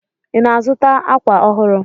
Ị na-azụta àkwà ọhụrụ?